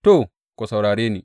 To, ku saurare ni!